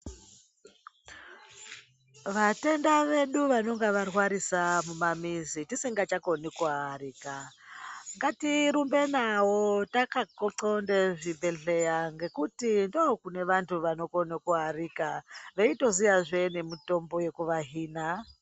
Vatenda vedu vanonga varwarisa mumamizi tisingachakoni kuvaarika, ngatirumbe navo takanxonda zvibhedhleya ngekuti ndokune vantu vanokone kuarika, veyitoziyazve nemitombo yekuvahina.